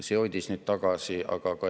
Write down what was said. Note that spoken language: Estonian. See hoidis neid tagasi.